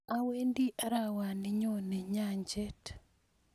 awendi arawana nyone nyanchet